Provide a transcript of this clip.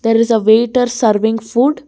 there is a waiter serving food.